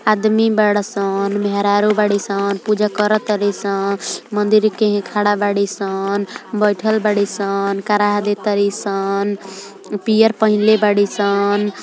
आदमी बाड़ सन। मेहरारू बाड़ी सन पूजा करतारी सन मन्दिर केने खड़ा बाड़ी सन बइठल बाड़ी सन कराह दे तारी सन |